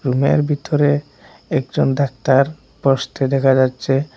রুমের ভিতরে একজন ডাক্তার বসতে দেখা যাচ্ছে।